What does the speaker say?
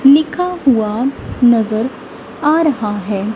लिखा हुआ नज़र आ रहा है।